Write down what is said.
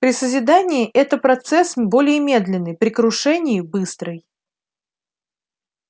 при созидании это процесс более медленный при крушении быстрый